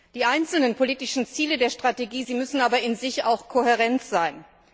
Die einzelnen politischen Ziele der Strategie müssen aber in sich auch kohärent sein.